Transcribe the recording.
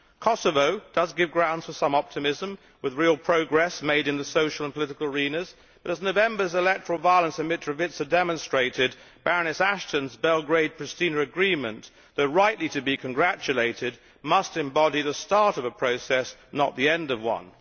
Kosovo does give grounds for some optimism, with real progress made in the social and political arenas but, as November's electoral violence in Mitrovica demonstrated, Baroness Ashton's Belgrade Priština agreement, though it is rightly to be congratulated, must embody the start of a process and not the end of one.